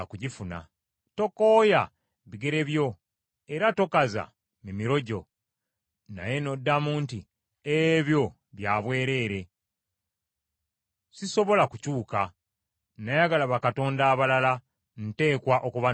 Tokooya bigere byo, era tokaza mimiro gyo. Naye n’oddamu nti, “Ebyo bya bwereere, sisobola kukyuka, nayagala bakatonda abalala, nteekwa okubanoonya.”